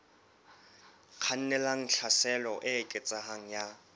kgannelang tlhaselong e eketsehang ya